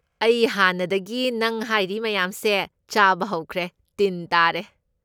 ꯑꯩ ꯍꯥꯟꯅꯗꯒꯤ ꯅꯪ ꯍꯥꯏꯔꯤ ꯃꯌꯥꯝ ꯁꯦ ꯆꯥꯕ ꯍꯧꯈ꯭ꯔꯦ, ꯇꯤꯟ ꯇꯥꯔꯦ꯫